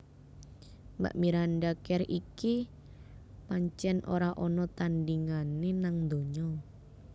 Mbak Miranda Kerr iki pancen ora ana tandingane nang donya